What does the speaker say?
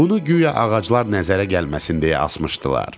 Bunu guya ağaclar nəzərə gəlməsin deyə asmışdılar.